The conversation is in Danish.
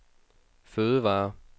fødevarer